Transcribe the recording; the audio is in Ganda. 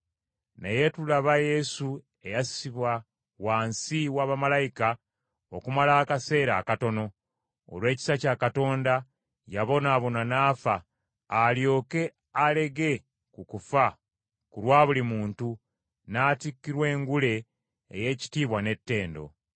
Naye tulaba Yesu eyassibwa wansi wa bamalayika okumala akaseera akatono. Olw’ekisa kya Katonda, yabonaabona n’afa, alyoke alege ku kufa ku lwa buli muntu, n’atikkirwa engule ey’ekitiibwa n’ettendo.